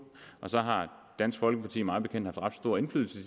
og så har dansk folkeparti mig bekendt haft ret stor indflydelse i